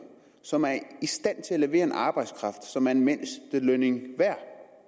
som er i stand til at levere en arbejdskraft som er mindstelønnen værd